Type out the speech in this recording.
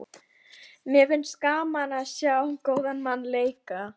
Mér finnst gaman að sjá góðan mann leika.